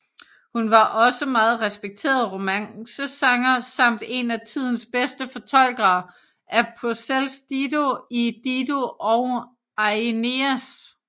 Hun var også meget respekteret romancesanger samt en af tidens bedste fortolkere af Purcells Dido i Dido og Aeneas